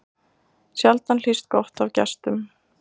Sjaldan hlýst gott af gestum.